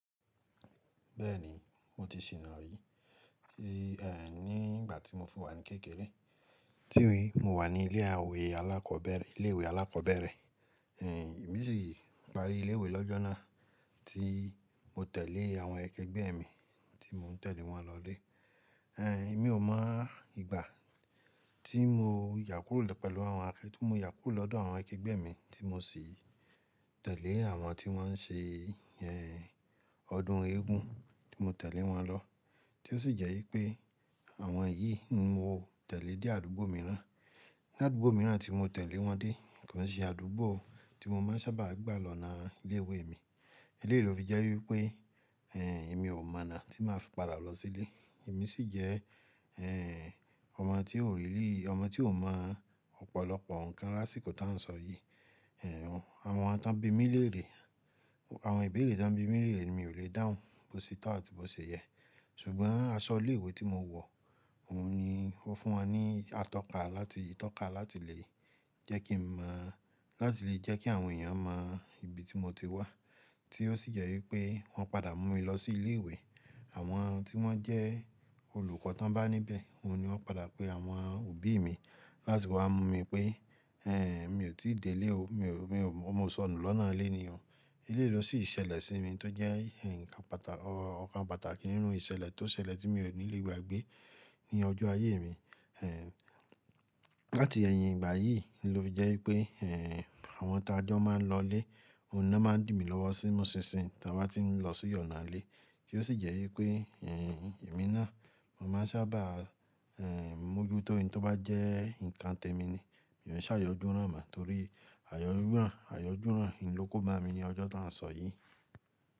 Bẹ́ẹ̀ni, mo ti sì nà rí i, ní ìgbà tí mo fún wá ní kékeré. Tí wí, mo wà ní ilé àwẹ̀ alákọ̀ọ́bẹ̀rẹ̀, ilé ìwé alákọ̀ọ́bẹ̀rẹ̀. Ni Èmi sì parí ilé ìwé lọ́jọ́ náà tí mo tẹ̀lé àwọn akẹgbẹ́ mi tí mò ń tẹ̀lé wọn lọlé. Ẹ̀n, èmi ò mọ ìgbà tí mo yàkúrò pẹ̀lú àwọn akẹ-- tí mo yàkúrò lọ́dọ̀ àwọn akẹgbẹ́ mi tí mo sì tẹ̀lé àwọn tí wọ́n ń ṣe, ẹ́, ọdún eégún, tí mo tẹ̀lé wọn lọ. Tí ó sì jẹ́ wípé àwọn yìí ni mo tẹ̀lé dé àdúgbò mìíràn. Ni àdúgbò mìíràn tí mo tẹ̀lé wọn dé kàn ṣé àdúgbò tí mo máa ń sábà gbà lọ́nà ilé ìwé mi. Eléyìí ló fi jẹ́ wípé, ẹ́, èmi ò mọ̀nà tí màá fi padà lọ sílé. Èmi sì jẹ́, ẹ́, ọmọ tí ó rìrí, ọmọ tí ò mọ̀ ọ̀pọ̀lọpọ̀ nǹkan lásìkò tá ń sọ yìí. Ẹ̀n, àwọn tí wọ́n bí mi léèrè, àwọn ìbéèrè tí wọ́n bí mi léèrè ni mi ò le dáhùn bó ṣe tà àti bó ṣe yẹ. Ṣùgbọ́n aṣọ ilé ìwé tí mo wọ̀, òun ni wọ́n fún wa ní atọ́ka láti, ìtọ́ka láti lè jẹ́ kí n mọ̀-- láti lè jẹ́ kí àwọn èèyàn mọ ibi tí mo ti wá. Tí ó sì jẹ́ wípé wọ́n padà mú mi lọ sí ilé ìwé. Àwọn tí wọ́n jẹ́ olùkọ́ to bá níbẹ̀, òun ni wọ́n padà pé àwọn òbí mi láti wá mú mi pé, ẹ́, mi ò tí dé ilé o, mi ò, mi ò mọ sọnù lọ́nà ilé èèyàn. Eléyìí ló sì ṣẹlẹ̀ sí mi tó jẹ́ nǹkan pàtà-- ọ̀kan pàtàkì nínú ìṣẹ̀lẹ̀ tó ṣẹlẹ̀ tí mi ò ní lè gbàgbé ní ọjọ́ ayé mi. Ẹ̀n, láti ẹ̀yìn ìgbà yìí ló jẹ́ wípé, ẹ́, àwọn tá a jọ máa ń lọlé, òun ni wọ́n máa ń dìmi lọ́wọ́ sí mu ṣinṣin táa bá ti ń lọ sóyànà ilé. Tí ó sì jẹ́ wípé, ẹ́, èmi náà, mo máa ń sábà, ẹ́, mú ojú tó ẹni tó bá jẹ́ nǹkan tẹ́ mi ni. Èmi ò ṣààyọ́ dúrò mọ̀ torí ààyò dúrò, ààyò dúrò ni ló kó máa mi ní ọjọ́ tá ń sọ yìí.